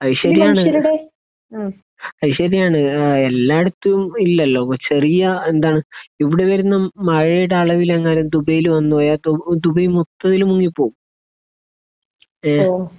അത് ശരിയാണ്. അത് ശരിയാണ്. ഏഹ് എല്ലായിടത്തും ഇല്ലല്ലോ. ചെറിയ ഏഹ് എന്താണ് ഇവിടെ വരുന്ന മഴയുടെ അളവിൽ എങ്ങാനും ദുബായിയിൽ വന്ന് പോയാൽ ഇപ്പോൾ ദുബായ് മൊത്തത്തിൽ മുങ്ങിപ്പോകും. ഏഹ്